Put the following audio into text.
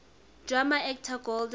drama actor golden